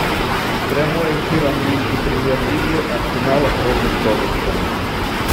прямой эфир английской премьер лиги арсенала против тоттенхэма